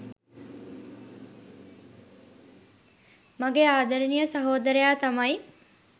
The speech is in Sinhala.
මගේ ආදරණීය සහෝදරයා තමයි.